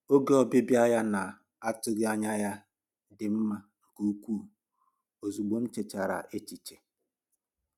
Oge ọbịbịa ya na-atụghị anya ya dị mma nke ukwuu, ozịgbọ m nchechara echiche.